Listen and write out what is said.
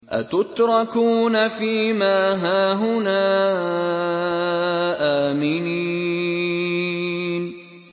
أَتُتْرَكُونَ فِي مَا هَاهُنَا آمِنِينَ